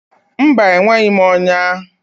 Mba, enweghị m ọnya.